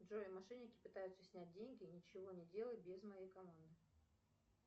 джой мошенники пытаются снять деньги ничего не делай без моей команды